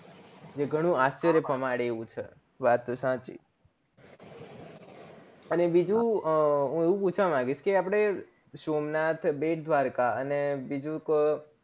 જે ઘણું આશ્ચર્ય પમાડે એવું છે વાત સાચી અને બીજું આવું પૂછવા માંન્ગીસ કે સોમનાથ બેટદ્વારકા અને બીજું કો